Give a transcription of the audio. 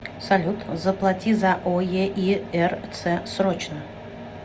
салют заплати за оеирц срочно